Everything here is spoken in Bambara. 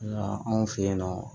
Yala anw fɛ yen nɔ